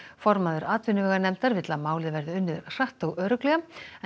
formaður atvinnuveganefndar vill að málið verði unnið hratt og örugglega